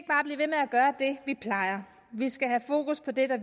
vi plejer vi skal have fokus på det der